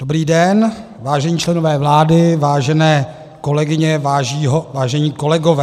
Dobrý den, vážení členové vlády, vážené kolegyně, vážení kolegové.